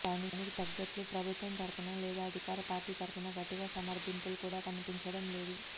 దానికి తగినట్లు ప్రభుత్వం తరఫున లేదా అధికార పార్టీ తరఫున గట్టిగా సమర్థింపులు కూడా కనిపించడం లేదు